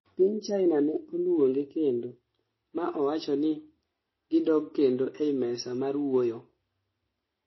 piny kina ne oluonge kendo, ma owacho ni gidog kendo ei mesa mar wuoyo